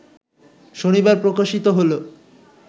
শনিবার প্রকাশিত হল